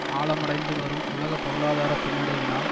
ஆழமடைந்துவரும் உலக பொருளாதார பின்னடைவினால்